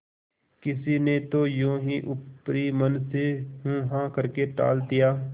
किसी ने तो यों ही ऊपरी मन से हूँहाँ करके टाल दिया